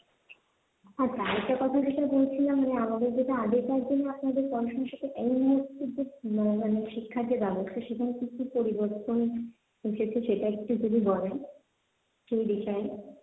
আচ্ছা আরেকটা কথা যেটা বলছিলাম যে আমাদের যেটা আগেকার দিনে আপনাদের পড়াশুনা সেটা এই মুহূর্তে মানে শিক্ষার যে ব্যবস্থা সেখানে কি পরিবর্তন এসেছে সেটা একটু যদি বলেন সেই বিষয়ে